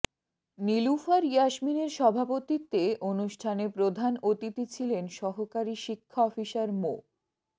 নিলুফার ইয়াসমিনের সভাপতিত্বে অনুষ্ঠানে প্রধান অতিথি ছিলেন সহকারী শিক্ষা অফিসার মো